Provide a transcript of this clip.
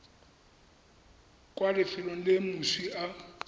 kwa lefelong le moswi a